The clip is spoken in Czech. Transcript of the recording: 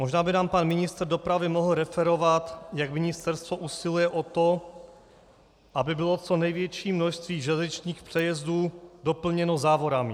Možná by nám pan ministr dopravy mohl referovat, jak ministerstvo usiluje o to, aby bylo co největší množství železničních přejezdů doplněno závorami.